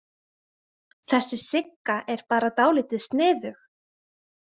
Þessi Sigga er bara dálítið sniðug.